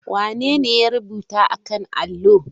Wanene ya rubuta a kan allo?